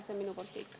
See on minu poolt kõik.